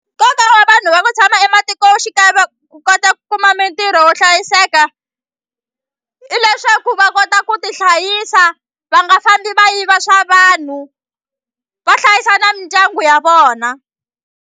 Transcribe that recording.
Nkoka wa vanhu va ku tshama ematikoxikaya va ku kota ku kuma mintirho wo hlayiseka i leswaku va kota ku tihlayisa va nga fambi va yiva swa vanhu va hlayisa na mindyangu ya vona.